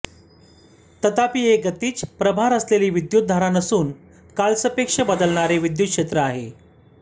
तथापि हे गतिज प्रभार असलेली विद्युत धारा नसून कालसापेक्ष बदलणारे विद्युत क्षेत्र आहे